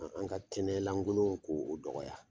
Ka an ka kɛnɛ lankolon k'o o dɔgɔ.